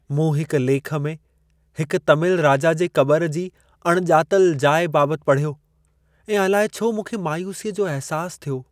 मूं हिकु लेखु में हिकु तमिल राजा जे क़बर जी अणिॼातलु जाइ बाबति पढ़ियो ऐं अलाए छो मूंखे मायूसीअ जो अहिसासु थियो।